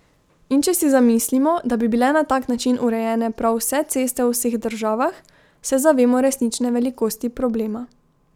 In če si zamislimo, da bi bile na tak način urejene prav vse ceste v vseh državah, se zavemo resnične velikosti problema.